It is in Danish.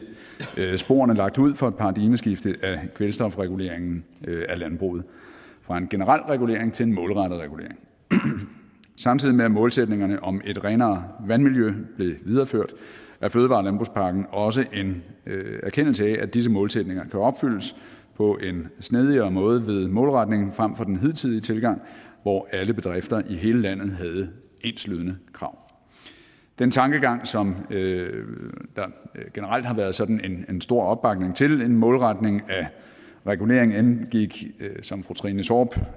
sporene lagt ud for et paradigmeskifte af kvælstofreguleringen af landbruget fra en generel regulering til en målrettet regulering samtidig med at målsætningerne om et renere vandmiljø blev videreført er fødevare og landbrugspakken også en erkendelse af at disse målsætninger kan opfyldes på en snedigere måde ved målretning frem for den hidtidige tilgang hvor alle bedrifter i hele landet havde enslydende krav den tankegang som der generelt har været sådan en stor opbakning til en målretning af reguleringen indgik som fru trine torp